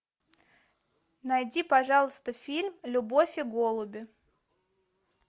найди пожалуйста фильм любовь и голуби